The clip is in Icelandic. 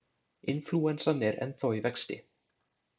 Inflúensan er ennþá í vexti.